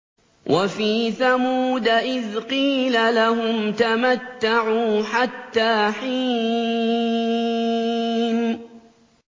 وَفِي ثَمُودَ إِذْ قِيلَ لَهُمْ تَمَتَّعُوا حَتَّىٰ حِينٍ